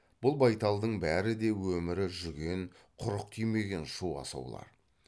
бұл байталдың бәрі де өмірі жүген құрық тимеген шу асаулар